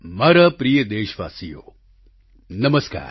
મારા પ્રિય દેશવાસીઓ નમસ્કાર